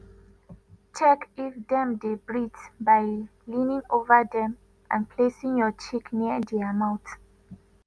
check if dem dey breathe by leaning ova dem and placing your cheek near dia mouth.